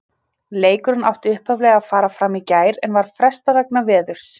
Leikurinn átti upphaflega að fara fram í gær en var frestað vegna veðurs.